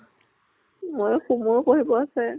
প্ঢ়িব আছে।